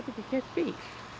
ekki keyrt bíl